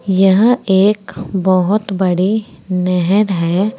यह एक बहुत बड़ी नहर है।